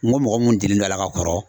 N ko mɔgɔ mun delilen no a la ka kɔrɔ